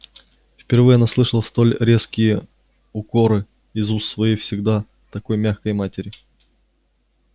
впервые она слышала столь резкие укоры из уст своей всегда такой мягкой матери